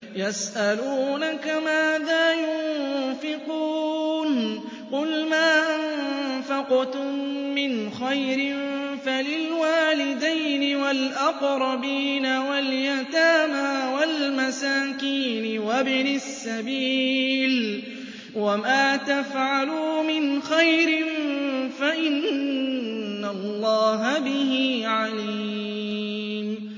يَسْأَلُونَكَ مَاذَا يُنفِقُونَ ۖ قُلْ مَا أَنفَقْتُم مِّنْ خَيْرٍ فَلِلْوَالِدَيْنِ وَالْأَقْرَبِينَ وَالْيَتَامَىٰ وَالْمَسَاكِينِ وَابْنِ السَّبِيلِ ۗ وَمَا تَفْعَلُوا مِنْ خَيْرٍ فَإِنَّ اللَّهَ بِهِ عَلِيمٌ